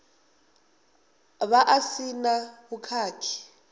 vha a si na vhukhakhi